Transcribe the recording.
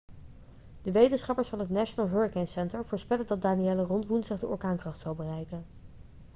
de wetenschappers van het national hurricane center voorspellen dat danielle rond woensdag de orkaankracht zal bereiken